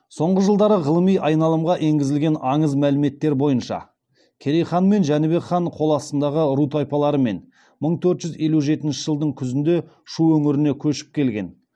соңғы жылдары ғылыми айналымға енгізілген аңыз мәліметтері бойынша керей хан мен жәнібек хан қол астындағы ру тайпалармен мың төрт жүз елу жетінші жылдың күзінде шу өңіріне көшіп келген